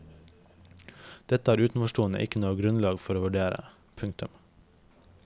Dette har utenforstående ikke noe grunnlag for å vurdere. punktum